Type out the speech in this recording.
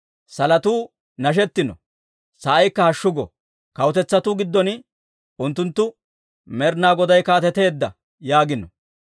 Salotuu nashettino; sa'aykka hashshu go! Kawutetsatuu giddon unttunttu, «Med'inaa Goday kaateteedda!» yaagino.